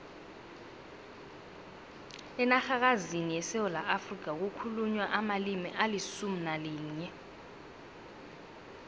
enarhakazini yesewula afrika kukhulunywa amalimi alisumu nalinye